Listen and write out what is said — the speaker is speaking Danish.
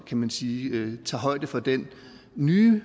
kan man sige tager højde for den nye